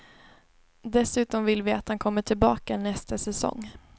Dessutom vill vi att han kommer tillbaka nästa säsong.